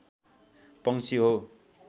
पंक्षी हो